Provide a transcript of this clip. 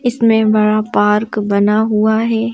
इसमें बड़ा पार्क बना हुआ है।